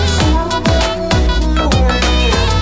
зор болып қалайық